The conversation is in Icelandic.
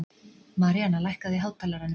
Maríanna, lækkaðu í hátalaranum.